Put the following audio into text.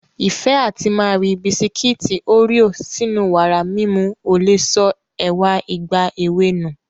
Ìfẹ́ àti máa ri Bisikiti Oreo sínú wàrà mímu ò lè sọ ẹwà ìgbà èwe nù